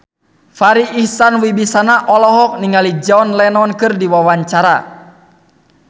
Farri Icksan Wibisana olohok ningali John Lennon keur diwawancara